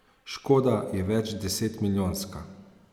Škoda je večdesetmilijonska.